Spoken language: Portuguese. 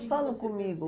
falam comigo.